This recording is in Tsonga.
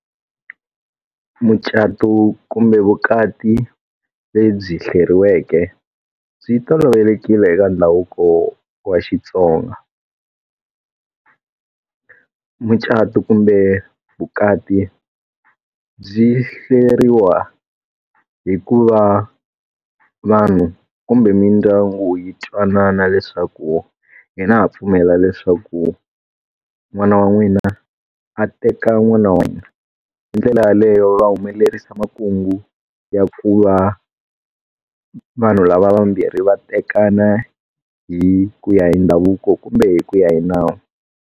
Mucato kumbe vukati lebyi hleriweke, byi tolovelekile eka ndhavuko wa xitsonga. Mucato kumbe vukati byi hleriwa hi ku va vanhu kumbe mindyangu yi twanana leswaku hina ha pfumela leswaku n'wana wa n'wina a teka n'wina hina. Hi ndlela yaleyo va humelerisa makungu ya ku va vanhu lava vambirhi va tekana hi ku ya hi ndhavuko kumbe hi ku ya hi nawu.